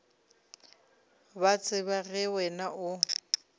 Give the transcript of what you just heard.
ba tseba ge wena o